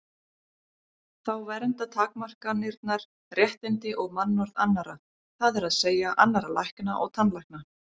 Þá vernda takmarkanirnar réttindi og mannorð annarra, það er að segja annarra lækna og tannlækna.